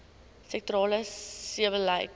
sektorale sebbeleid